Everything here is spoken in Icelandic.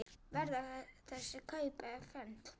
Verða þessi kaup efnd?